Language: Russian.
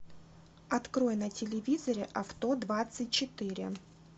открой на телевизоре авто двадцать четыре